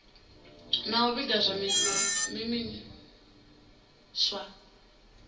na u vhiga zwa zwiimiswa